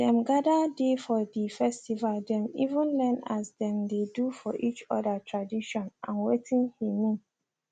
dem gather dey for the festivethem even learn as dem dey do for each other tradition and watin he mean